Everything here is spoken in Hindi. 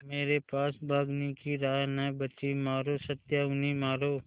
मेरे पास भागने की राह न बची मारो सत्या उन्हें मारो